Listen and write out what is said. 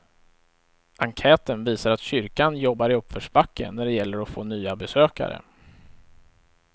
Enkäten visar att kyrkan jobbar i uppförsbacke när det gäller att få nya besökare.